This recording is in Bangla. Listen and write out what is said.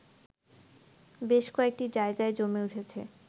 বেশ কয়েকটি জায়গায় জমে উঠেছে